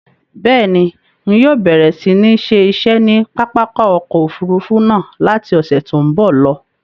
Bẹ́ẹ̀ni, ń yóò bẹ̀rẹ̀ si ni ṣe iṣẹ́ ni pápákọ̀ ọkọ Òfurufú náà láti ọ̀sẹ̀ tòun bọ̀ lọ.